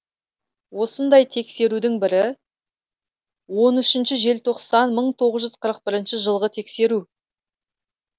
осындай тексерудің бірі он үшінші желтоқсан мың тоғыз жүз қырық бірінші жылғы тексеру